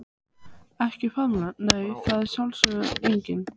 Ekki faðmlag nei, það er sjálfsögð eining.